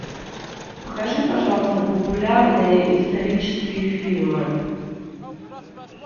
покажи пожалуйста популярные исторические фильмы